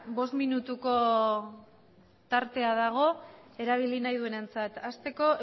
bost minutuko tartea dago erabili nahi du na entzat asteko